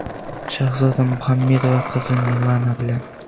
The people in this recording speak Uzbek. Shahzoda Muhammedova qizi Milana bilan.